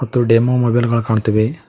ಮತ್ತು demo mobile ಗಳು ಕಾಣ್ತವೆ.